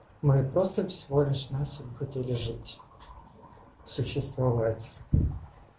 мы просто всего лишь навсего хотели жить существовать